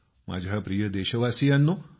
माझ्या प्रिय देशवासीयांनो